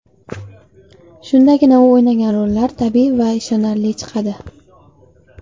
Shundagina u o‘ynagan rollar tabiiy va ishonarli chiqadi.